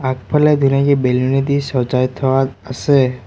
আগফালে বেলুনেদি চজাই থোৱা আছে।